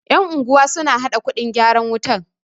yan'unguwa suna haɗa kuɗin gyaran wutar